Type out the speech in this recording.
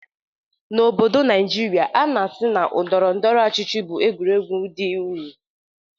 N'obodo Naijiria, a na-asi na ndọrọndọrọ ọchịchị bụ egwuregwu dị unyi.